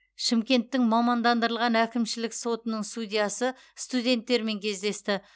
шымкенттің мамандандырылған әкімшілік сотының судьясы студенттермен кездесті